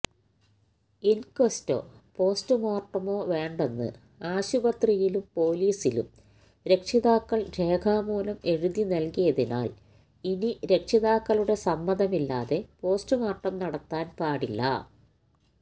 ഇന്ക്വസ്റ്റോ പോസ്റ്റ്മോര്ട്ടമോ വേണ്ടെന്ന് ആശുപത്രിയിലും പോലീസിലും രക്ഷിതാക്കള് രേഖാമൂലം എഴുതി നല്കിയതിനാല് ഇനി രക്ഷിതാക്കളുടെ സമ്മതമില്ലാതെ പോസ്റ്റ്മോര്ട്ടം നടത്താന് പാടില്ല